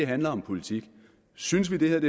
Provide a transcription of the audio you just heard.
handler om politik synes vi det her